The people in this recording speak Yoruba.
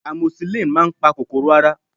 amoxicillin máà ń pa kòkòrò ara